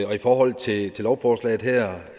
og i forhold til lovforslaget her